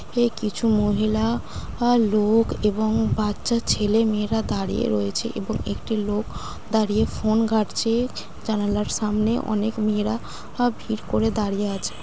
এ কিছু মহিলা আ লোক এবং বাচ্চা ছেলে মেয়েরা দাঁড়িয়ে রয়েছে এবং একটি লোক দাঁড়িয়ে ফোন ঘাটছে জানালার সামনে অনেক মেয়েরা আহ ভিড় করে দাঁড়িয়ে আছে।